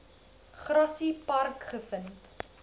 grassy park gevind